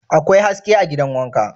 Akwai haske a gidan wanka?